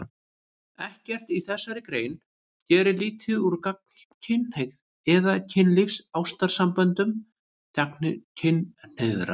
Ekkert í þessari grein gerir lítið úr gagnkynhneigð eða kynlífs- og ástarsamböndum gagnkynhneigðra.